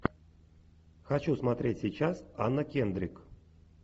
хочу смотреть сейчас анна кендрик